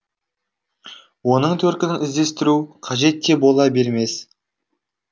оның төркінін іздестіру қажет те бола бермес